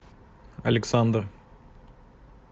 александр